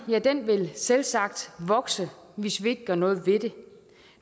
vil selvsagt vokse hvis vi ikke gør noget ved det